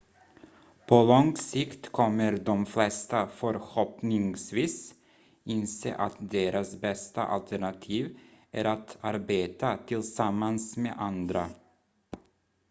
på lång sikt kommer de flesta förhoppningsvis inse att deras bästa alternativ är att arbeta tillsammans med andra